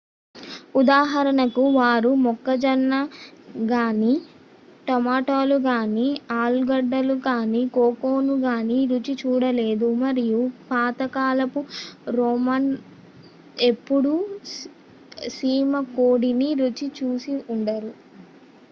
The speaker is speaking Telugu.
ఉదాహరణకు వారు మొక్కజొన్న గానీ టొమాటోలు గానీ ఆలుగడ్డలు గానీ కోకోను గానీ రుచి చూడలేదు మరియు పాత కాలపు రోమన్ ఎప్పుడూ సీమకోడిని రుచి చూసి ఉండరు